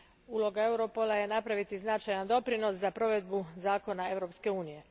Uloga Europola je napraviti značajan doprinos za provedbu zakona Europske unije.